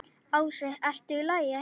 Ási: ERTU Í LAGI?